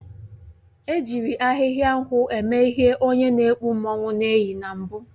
E jiri ahịhịa nkwụ eme ihe onye n'ekpu mmanwụ na-eyi na mbụ